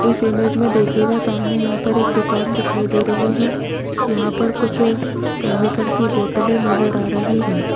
इस इमेज में देखियेगा सामने यहां पर एक दुकान दिखाई दे रही है यहां पर कुछ केमिकल की बॉटले नजर आ रही है।